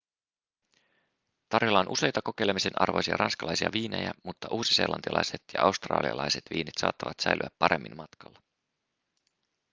tarjolla on useita kokeilemisen arvoisia ranskalaisia viinejä mutta uusiseelantilaiset ja australialaiset viinit saattavat säilyä paremmin matkalla